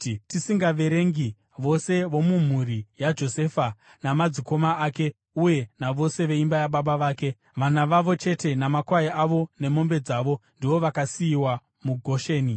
tisingaverengi vose vomumhuri yaJosefa namadzikoma ake uye navose veimba yababa vake. Vana vavo chete namakwai avo nemombe dzavo, ndivo vakasiyiwa muGosheni.